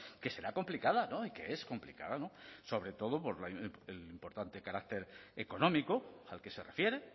que será complicada y que es complicada sobre todo por el importante carácter económico al que se refiere